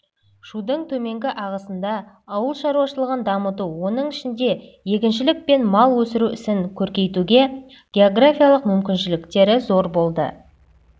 шудың төменгі ағысында ауыл шаруашылығын дамыту оның ішінде егіншілік пен мал өсіру ісін көркейтуге географиялық мүмкіншіліктері зор болды